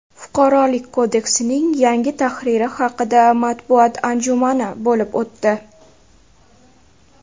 Fuqarolik kodeksining yangi tahriri haqida matbuot anjumani bo‘lib o‘tdi.